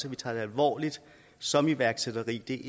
at vi tager det alvorligt som iværksætteri det